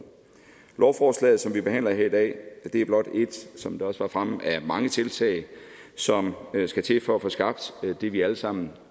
lovforslaget som vi behandler her i dag er blot et som det også var fremme af mange tiltag som skal til for at få skabt det vi alle sammen